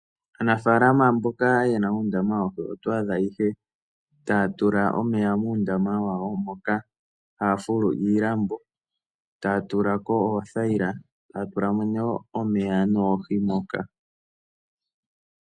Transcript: Aanafalama mboka ye na uundama woohi oto adha ihe taya tula omeya muundama wawo moka haya fulu iilambo taya tula ko oothayila taya tula mo nee omeya noohi moka.